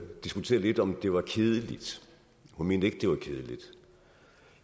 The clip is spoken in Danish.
diskuterede lidt om det var kedeligt hun mente ikke det var kedeligt